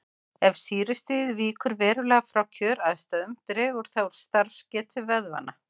Ef sýrustigið víkur verulega frá kjöraðstæðum dregur það úr starfsgetu vöðvanna.